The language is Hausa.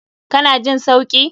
Ka na jin sauki?